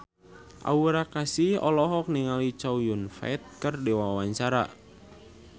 Aura Kasih olohok ningali Chow Yun Fat keur diwawancara